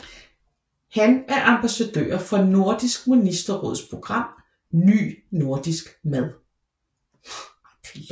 Han er ambassadør for Nordisk Ministerråds program Ny Nordisk Mad